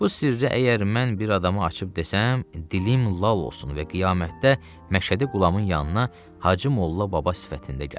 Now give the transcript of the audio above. Bu sirri əgər mən bir adama açıb desəm, dilim lal olsun və qiyamətdə Məşədi Qulamın yanına Hacı Molla Baba sifətində gəlim.